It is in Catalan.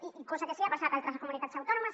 i cosa que sí que ha passat a altres comunitats autònomes